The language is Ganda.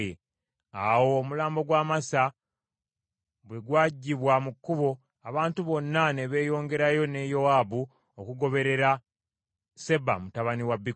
Awo omulambo gwa Amasa bwe gwaggyibwa mu kkubo abantu bonna ne beeyongerayo ne Yowaabu okugoberera Seba mutabani wa Bikuli.